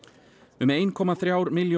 um ein komma þrjár milljónir